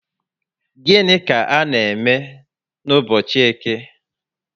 Gịnị ka a n'eme n'ubochi Eke?